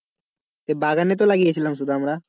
সেই বাগানে তো লাগিয়েছিলাম শুধু আমরা।